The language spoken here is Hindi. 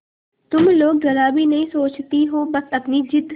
तुम लोग जरा भी नहीं सोचती हो बस अपनी जिद